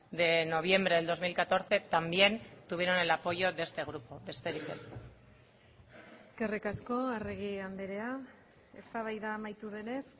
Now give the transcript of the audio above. de noviembre del dos mil catorce también tuvieron el apoyo de este grupo besterik ez eskerrik asko arregi andrea eztabaida amaitu denez